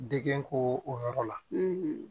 Degu o yɔrɔ la